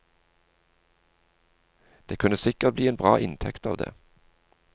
Det kunne sikker bli en bra inntekt av det.